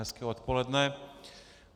Hezké odpoledne.